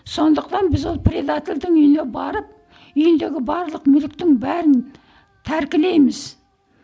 сондықтан біз ол предательдің үйіне барып үйіндегі барлық мүліктің бәрін тәркілейміз